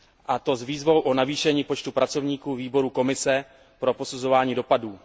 A to s výzvou o navýšení počtu pracovníků výboru Komise pro posuzování dopadů.